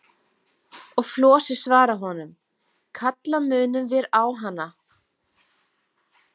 Og Flosi svarar honum: Kalla munum vér á hana.